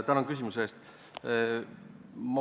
Tänan küsimuse eest!